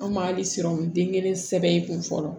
An ma hali siran den kelen sɛbɛn i kun fɔlɔ